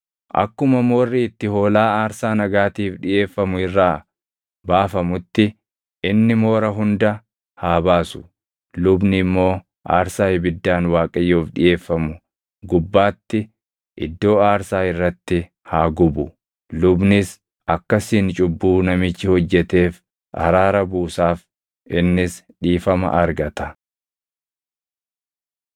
Akkuma moorri itti hoolaa aarsaa nagaatiif dhiʼeeffamu irraa baafamutti inni moora hunda haa baasu; lubni immoo aarsaa ibiddaan Waaqayyoof dhiʼeeffamu gubbaatti iddoo aarsaa irratti haa gubu. Lubnis akkasiin cubbuu namichi hojjeteef araara buusaaf; innis dhiifama argata.